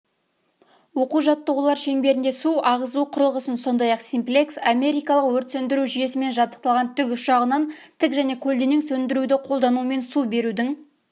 оқу-жаттығулар шеңберінде су ағызу құрылғысын сондай-ақ симплекс америкалық өрт сөндіру жүйесімен жабдықталған тікұшағынан тік және көлденең сөндіруді қолдануымен су берудің